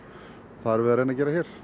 það erum við að gera hér